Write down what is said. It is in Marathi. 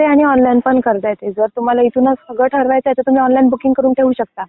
ऑफलाइन पण करता येते आणि ऑनलाईन पण. करता येते. जर तुम्हाला इथूनच सगळं ठरवायचं आहे तर तुम्ही ऑनलाईन बुकिंग करून ठेवू शकता.